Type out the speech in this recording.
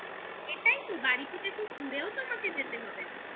এটাই তো বাড়ি থেকে খুব দূরেও তোমাকে যেতে হবে না